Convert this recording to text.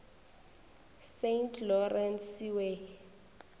saint lawrence seaway